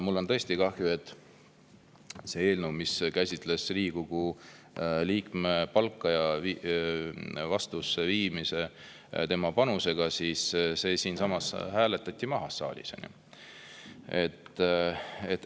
Mul on tõesti kahju, et see eelnõu, mis käsitles Riigikogu liikme palga vastavusse viimist tema panusega, hääletati siinsamas saalis maha.